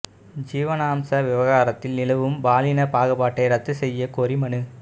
ஜீவனாம்ச விவகாரத்தில் நிலவும் பாலின பாகுபாட்டை ரத்து செய்யக் கோரி மனு